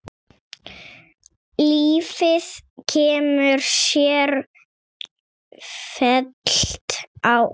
Lífið kemur sífellt á óvart.